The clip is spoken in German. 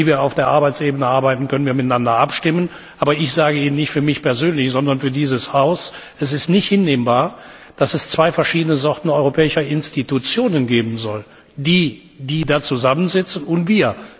Wie wir auf der Arbeitsebene arbeiten, können wir miteinander abstimmen, aber ich sage Ihnen nicht für mich persönlich, sondern für dieses Haus, es ist nicht hinnehmbar, dass es zwei verschiedene Sorten europäischer Institutionen geben soll die, die da zusammensitzen, und wir.